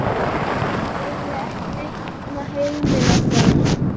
Eiginlega ekki neitt nema heimili okkar.